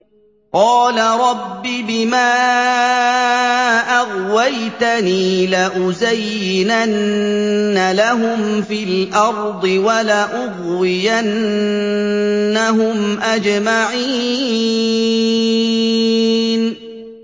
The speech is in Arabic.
قَالَ رَبِّ بِمَا أَغْوَيْتَنِي لَأُزَيِّنَنَّ لَهُمْ فِي الْأَرْضِ وَلَأُغْوِيَنَّهُمْ أَجْمَعِينَ